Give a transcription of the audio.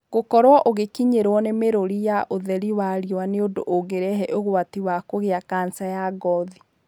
Gũkorũo ũgĩkinyĩrwo nĩ mĩrũri ya ũtheri wa riũwa nĩ ũndũ ũngĩrehe ũgwati wa kũgĩa kanca ya ngothi.